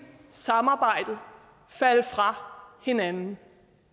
samarbejdet falde fra hinanden